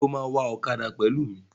Ṣé o máa wa ọ̀kadà pẹ̀lú mi?